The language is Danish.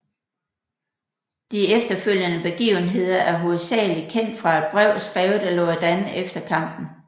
De efterfølgende begivenheder er hovedsagelig kendt fra et brev skrevet af Loredan efter kampen